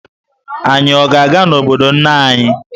Anyị ọ ga-aga n'obodo nne anyị?